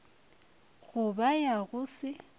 go ba ya go se